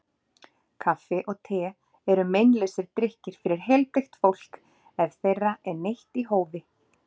Kaffi og te eru meinlausir drykkir fyrir heilbrigt fólk ef þeirra er neytt í hófi.